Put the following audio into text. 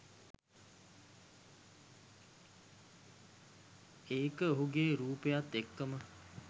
ඒක ඔහුගේ රූපයත් එක්කම